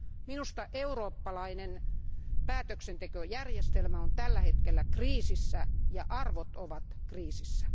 Minusta eurooppalainen päätöksentekojärjestelmä on tällä hetkellä kriisissä ja arvot ovat kriisissä.